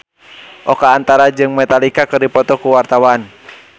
Oka Antara jeung Metallica keur dipoto ku wartawan